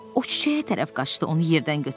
O çiçəyə tərəf qaçdı, onu yerdən götürdü.